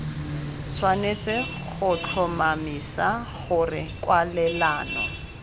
tshwanetse go tlhomamisa gore kwalelano